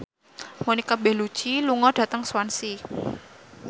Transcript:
Monica Belluci lunga dhateng Swansea